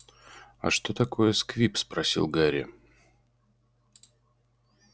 а что такое сквиб спросил гарри